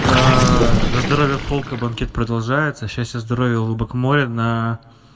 аа за здоровье фолка банкет продолжается счастья здоровья улыбок моря на